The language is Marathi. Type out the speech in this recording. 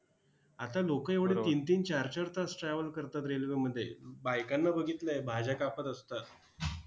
आता लोकं एवढी तीन-तीन, चार-चार तास travel करतात railway मध्ये. बायकांना बघितलंय, भाज्या कापत असतात.